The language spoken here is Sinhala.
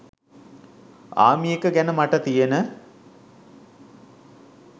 'ආමිඑක' ගැන මට තියෙන